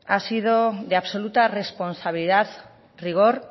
ha sido de absoluta responsabilidad rigor